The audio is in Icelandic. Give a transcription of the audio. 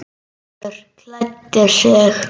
Gerður klæddi sig.